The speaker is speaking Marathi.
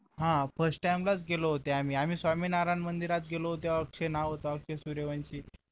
हा first time लाच गेले होते आम्ही आम्ही स्वामी नारायण मंदिरात गेलो त्या तेव्हा अक्षय नाव होत अक्षय सूर्यवंशी